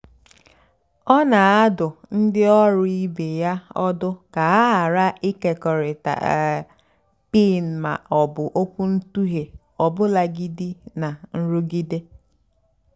ọ́ nà-àdụ́ ndí ọ́rụ́ ìbé yá ọ́dụ́ kà hà ghàrà ị́kékọ́rịtá um pin mà ọ́ bụ́ ókwúntụ̀ghé ọ́bụ́làgìdí nà nrụ́gídé.